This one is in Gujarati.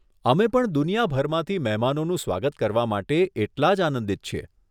અમે પણ દુનિયાભરમાંથી મહેમાનોનું સ્વાગત કરવા માટે એટલાં જ આનંદિત છીએ.